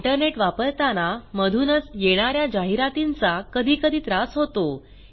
internet वापरताना मधूनच येणा या जाहिरातींचा कधीकधी त्रास होतो